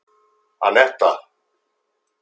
Anetta